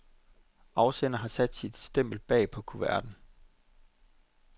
Afsenderen har sat sit stempel bag på kuverten.